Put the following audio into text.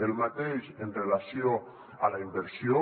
el mateix en relació amb la inversió